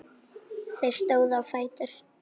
Þau stóðu á fætur.